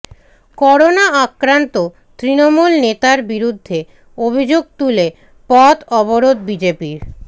corona আক্রান্ত তৃণমূল নেতার বিরুদ্ধে অভিযোগ তুলে পথ অবরোধ বিজেপির